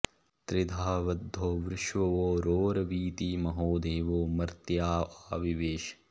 त्रिधा बद्धो वृषभो रोरवीति महो देवो मर्त्याँ आ विवेश